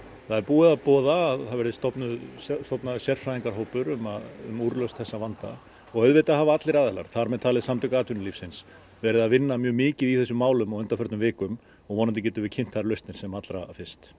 það er búið að boða að það verði stofnaður stofnaður sérfræðingahópur um úrlausn þessa vanda og auðvitað hafa allir aðilar þar með talin Samtök atvinnulífsins verið að vinna mjög mikið í þessum málum á undanförnum vikum og vonandi getum við kynnt þær lausnir sem allra fyrst